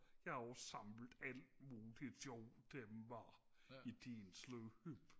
jeg har også samlet alt muligt sjovt i tidens løb